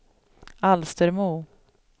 Alstermo